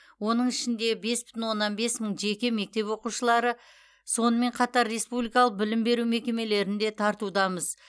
оның ішінде бес бүтін оннан бес мың жеке мектеп оқушылары сонымен қатар республикалық білім беру мекемелерінде тартудамыз